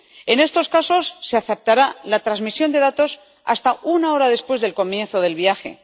En estos casos, se aceptará la transmisión de datos hasta una hora después del comienzo del viaje.